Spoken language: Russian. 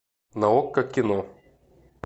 на окко кино